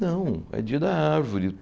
Não, é dia da árvore.